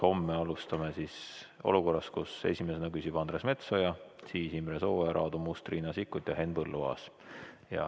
Homme alustame olukorras, kus esimesena küsib Andres Metsoja, siis Imre Sooäär, Aadu Must, Riina Sikkut ja Henn Põlluaas.